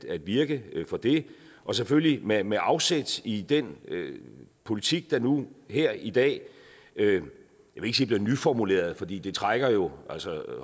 at virke for det og selvfølgelig med med afsæt i den politik der nu her i dag jeg vil ikke sige bliver nyformuleret fordi det trækker jo altså